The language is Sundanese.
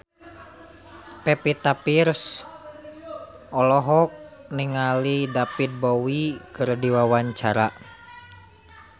Pevita Pearce olohok ningali David Bowie keur diwawancara